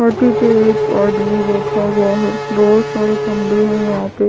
हाथी पे एक आदमी बैठा हुआ है बहुत सारे फंदे है यहाँ पे।